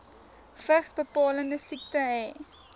vigsbepalende siekte hê